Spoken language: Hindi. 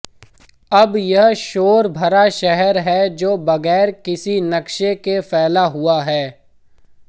अब यह शोर भरा शहर है जो बगैर किसी नक्शे के फैला हुआ है